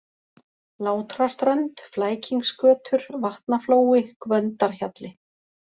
Látraströnd, Flækingsgötur, Vatnaflói, Gvöndarhjalli